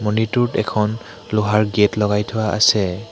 মন্দিৰটোত এখন লোহাৰ গেট লগাই থোৱা আছে।